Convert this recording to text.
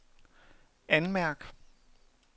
anmærk